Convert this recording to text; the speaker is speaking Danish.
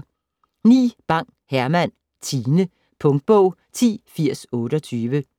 Bang, Herman: Tine Punktbog 108028